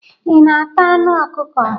Ị na-ata anụ ọkukọ?